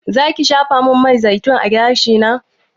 Zaki shafamin man zaitun a gashina?